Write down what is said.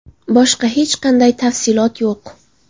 Boshqa hech qanday tafsilot yo‘q.